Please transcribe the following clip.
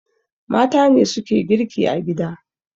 Mata ne suke girki a gida